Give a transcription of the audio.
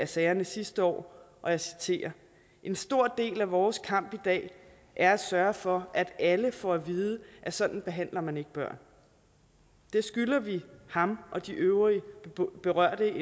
sagerne sidste år og jeg citerer en stor del af vores kamp i dag er at sørge for at alle får at vide at sådan behandler man ikke børn det skylder vi ham og de øvrige berørte